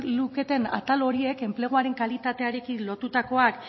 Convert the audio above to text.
luketen atal horiek enpleguaren kalitatearekin lotutakoak